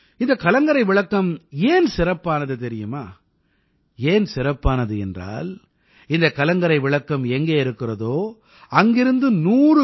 இந்தக் கலங்கரை விளக்கம் ஏன் சிறப்பானது தெரியுமா ஏன் சிறப்பானது என்றால் இந்தக் கலங்கரை விளக்கம் எங்கே இருக்கிறதோ அங்கிருந்து 100 கி